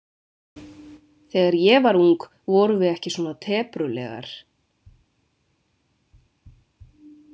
Þegar ég var ung vorum við ekki svona teprulegar.